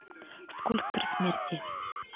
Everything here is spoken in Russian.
скульптор смерти